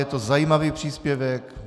Je to zajímavý příspěvek.